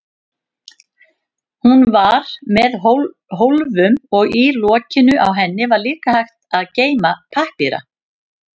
Hún var með hólfum og í lokinu á henni var líka hægt að geyma pappíra.